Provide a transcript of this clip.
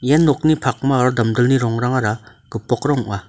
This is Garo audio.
ia nokni pakma aro damdilni rongrangara gipokrang ong·a.